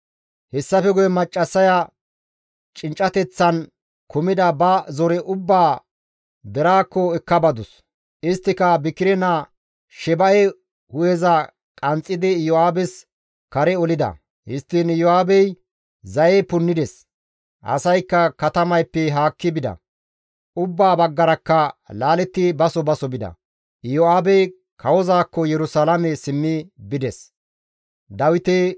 Hessafe guye maccassaya cinccateththan kumida ba zore ubbaa deraakko ekka badus. Isttika Bikire naa Sheba7e hu7eza qanxxidi Iyo7aabes kare olida. Histtiin Iyo7aabey zaye punnides; asaykka katamayppe haakki bida. Ubbaa baggarakka laaletti baso baso bida. Iyo7aabey kawozaakko Yerusalaame simmi bides.